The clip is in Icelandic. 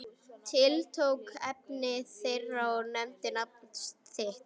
Tiltók efni þeirra og nefndi nafn þitt.